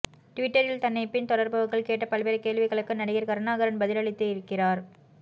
ட்விட்டரில் தன்னை பின் தொடர்பவர்கள் கேட்ட பல்வேறு கேள்விகளுக்கு நடிகர் கருணாகரன் பதிலளித்திருக்கிறார்